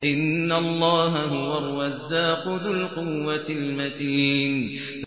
إِنَّ اللَّهَ هُوَ الرَّزَّاقُ ذُو الْقُوَّةِ الْمَتِينُ